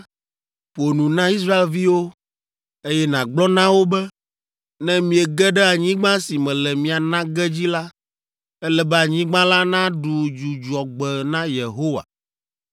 “Ƒo nu na Israelviwo, eye nàgblɔ na wo be, ‘Ne miege ɖe anyigba si mele mia na ge dzi la, ele be anyigba la naɖu dzudzɔgbe na Yehowa.